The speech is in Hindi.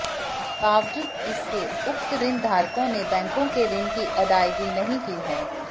बावजूद इसके उक्त ऋणधारकांे ने बैंकों के ऋण की अदायगी नहीं की है